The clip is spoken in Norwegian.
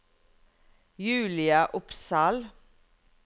Julia Opsahl